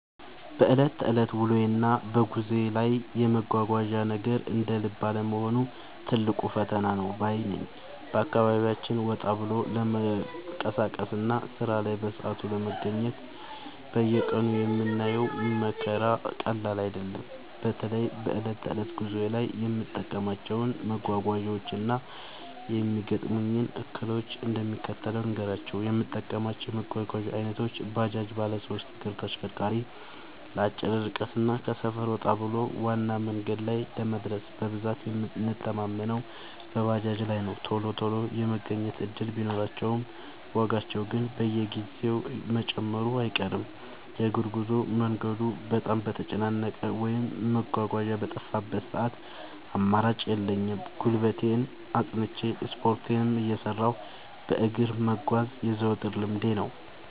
በዕለት ተዕለት ውሎዬና በጉዞዬ ላይ የመጓጓዣ ነገር እንደ ልብ አለመሆኑ ትልቅ ፈተና ነው ባይ ነኝ። በአካባቢያችን ወጣ ብሎ ለመንቀሳቀስና ሥራ ላይ በሰዓቱ ለመገኘት በየቀኑ የምናየው መከራ ቀላል አይደለም። በተለይ በዕለት ተዕለት ጉዞዬ ላይ የምጠቀማቸውን መጓጓዣዎችና የሚገጥሙኝን እክሎች እንደሚከተለው ልንገራችሁ፦ የምጠቀማቸው የመጓጓዣ ዓይነቶች፦ ባጃጅ (ባለሦስት እግር ማሽነሪ/ተሽከርካሪ)፦ ለአጭር ርቀትና ከሰፈር ወጣ ብሎ ዋና መንገድ ላይ ለመድረስ በብዛት የምንተማመነው በባጃጅ ላይ ነው። ቶሎ ቶሎ የመገኘት ዕድል ቢኖራቸውም፣ ዋጋቸው ግን በየጊዜው መጨመሩ አይቀርም። የእግር ጉዞ፦ መንገዱ በጣም በተጨናነቀበት ወይም መጓጓዣ በጠፋበት ሰዓት አማራጭ የለኝም፤ ጉልበቴን አጽንቼ፣ ስፖርቴንም እየሠራሁ በእግር መጓዝ የዘወትር ልምዴ ነው።